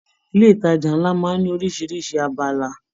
Ilé ìtàjà nlá máa n ní orisirisi abala.